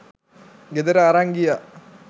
ගෙදර අරන් ගියා